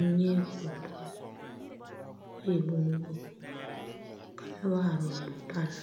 N nyɛ kuri bol kɔ e bonsɔglaa ka noba are o pare